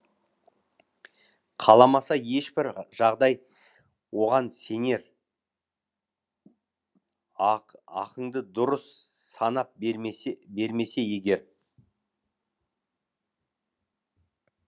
қаламаса ешбір жағдай оған сенер ақыңды дұрыс санап бермесе бермесе егер